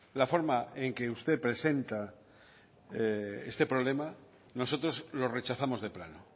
la forma en que usted presenta este problema nosotros lo rechazamos de plano